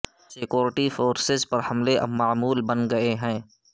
security forces پر حملے اب معمول بن گئے ہیں